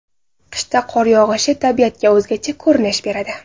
Qishda qor yog‘ishi tabiatga o‘zgacha ko‘rinish beradi.